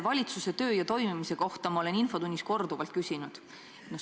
Valitsuse töö ja senise toimimise kohta ma olen infotunnis korduvalt küsinud.